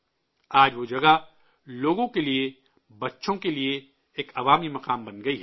آج وہ جگہ لوگوں کے لیے، بچوں کے لیے، ایک عوامی مقام بن گیا ہے